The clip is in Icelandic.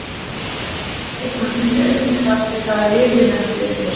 Hann segist hafa fundið aukinn kraft við það að liðið lenti undir.